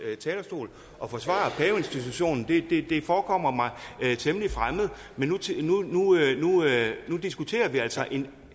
talerstol og forsvare paveinstitutionen det forekommer mig temmelig fremmed men nu diskuterer vi altså en